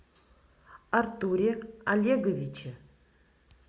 артуре олеговиче